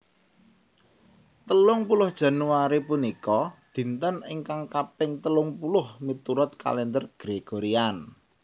Telung puluh Januari punika dinten ingkang kaping telung puluh miturut Kalèndher Gregorian